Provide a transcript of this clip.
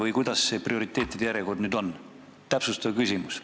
Või kuidas selle prioriteetide järjekorraga ikkagi on?